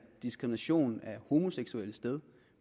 diskrimination af homoseksuelle sted